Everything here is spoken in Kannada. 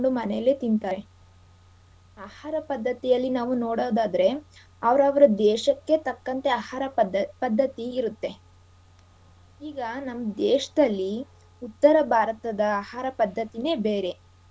ಮನೇಲೆ ತಿಂತಾರೆ. ಆಹಾರ ಪದ್ಧತಿ ಅಲ್ಲಿ ನಾವು ನೋಡೋದಾದ್ರೆ ಅವರವರ ದೇಶಕ್ಕೆ ತಕ್ಕಂತೆ ಆಹಾರ ಪದ್~ ಪದ್ಧತಿ ಇರತ್ತೆ. ಈಗ ನಮ್ ದೇಶದಲ್ಲಿ ಉತ್ತರ ಭಾರತದ ಆಹಾರ ಪದ್ಧತಿನೇ ಬೇರೆ.